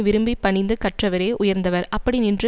விரும்பி பணிந்து கற்றவரே உயர்ந்தவர் அப்படி நின்று